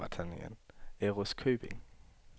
Ærøskøbing